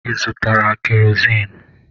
Ị zụtara kerozin?